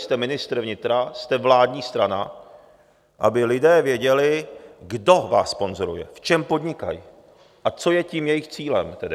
Jste ministr vnitra, jste vládní strana, aby lidé věděli, kdo vás sponzoruje, v čem podnikají a co je tím jejich cílem tedy.